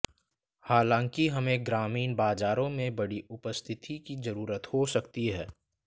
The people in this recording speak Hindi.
हालांकि हमें ग्रामीण बाजारों मे बड़ी उपस्थिति की जरूरत हो सकती है